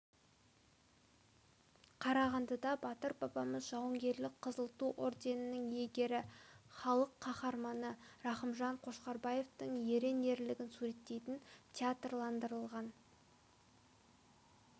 қарағандыда батыр бабамыз жауынгерлік қызыл ту орденінің иегері халық қаһарманы рақымжан қошқарбаевтың ерен ерлігін суреттейтін театрландырылған